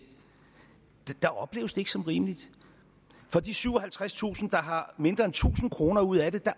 ikke som rimeligt for de syvoghalvtredstusind der har mindre end tusind kroner ud af det